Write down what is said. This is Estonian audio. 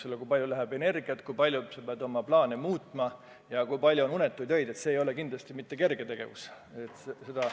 Kui palju kulub energiat, kui palju sa pead oma plaane muutma ja kui palju on unetuid öid – see ei ole kindlasti mitte kerge tegevus.